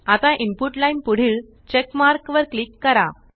आता input line पुढील check mark वर क्लिक करा